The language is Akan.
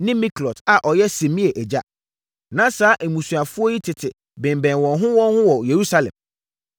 ne Miklot a ɔyɛ Simea agya. Na saa mmusuafoɔ yi tete bemmɛn wɔn ho wɔn ho wɔ Yerusalem.